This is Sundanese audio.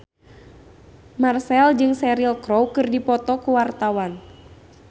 Marchell jeung Cheryl Crow keur dipoto ku wartawan